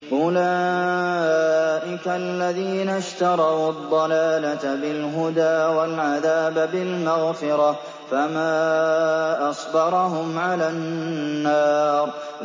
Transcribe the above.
أُولَٰئِكَ الَّذِينَ اشْتَرَوُا الضَّلَالَةَ بِالْهُدَىٰ وَالْعَذَابَ بِالْمَغْفِرَةِ ۚ فَمَا أَصْبَرَهُمْ عَلَى النَّارِ